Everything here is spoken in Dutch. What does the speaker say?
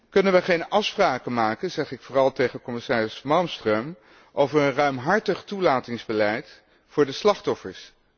Kunnen we geen afspraken maken zeg ik vooral tegen commissaris Malmström over een ruimhartig toelatingsbeleid voor de slachtoffers?